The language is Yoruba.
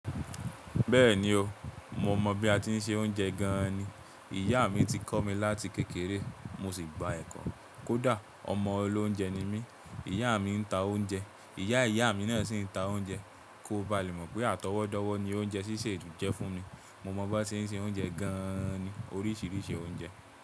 Bẹ́ẹ̀ni o, mo mọ̀ bí a ti ń se oúnjẹ gan ni. Ìyá mi ti kọ́ mi láti kékeré mo sì gba ẹ̀kọ́. Kódà ọmọ olóúnjẹ ni mí. Ìyá mi ń ta oúnjẹ, ìyá ìyá mi náà sì ń ta oúnjẹ. Kó ba lè mọ̀ pé àtọwọ́dọ̀wọ̀ ni oúnjẹ sísè jẹ́ fún mi. Mo mọ̀ bó ṣe ń se oúnjẹ gan ni, oríṣiríṣi oúnjẹ.